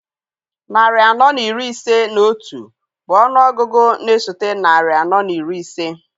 Narị anọ na iri ise na otu bụ ọnụ ọgụgụ na-esote narị anọ na iri ise.